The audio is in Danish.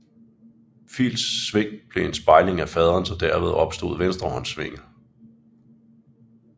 Phils sving blev en spejling af faderens og derved opstod venstrehåndssvinget